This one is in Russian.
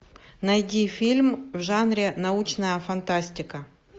найди фильм в жанре научная фантастика